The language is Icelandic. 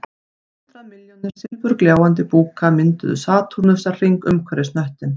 Hundrað milljónir silfurgljáandi búka mynduðu satúrnusarhring umhverfis hnöttinn